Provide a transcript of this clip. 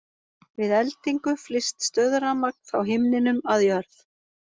Við eldingu flyst stöðurafmagn frá himninum að jörð.